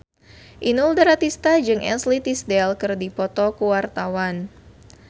Inul Daratista jeung Ashley Tisdale keur dipoto ku wartawan